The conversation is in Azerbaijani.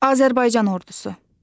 Azərbaycan ordusu.